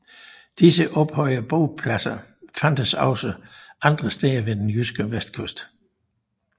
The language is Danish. Disse ophøjede bopladser fandtes også også andre steder ved den jyske vestkyst